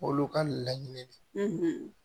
Olu ka laɲini de